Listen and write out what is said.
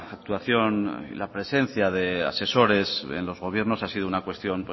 actuación y la presencia de asesores en los gobiernos ha sido una cuestión